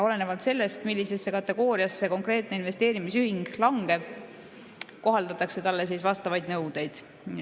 Olenevalt sellest, millisesse kategooriasse konkreetne investeerimisühing langeb, kohaldatakse talle vastavaid nõudeid.